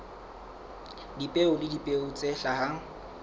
dipeo le dipeo tse hlahang